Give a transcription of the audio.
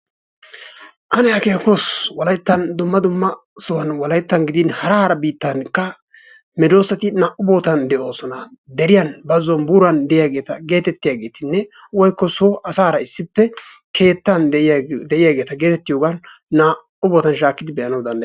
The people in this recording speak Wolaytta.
Ane akeekoos, wolayttan dumma dumma sohuwan wolayttan gidin hara hara biittankka medoosati naa"u bootan de'oosona. Deriyan, bazzuwan, buuran de'iyageeta geetettiyageetinne woykko so asaara issippe keettan de'iyageeta geetettiyogan naa"u bootan shaakkidi be'anawu danddayettees.